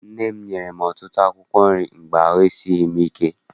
Nne m nyere m ọtụtụ akwụkwọ nri mgbe ahụ esighị m ike.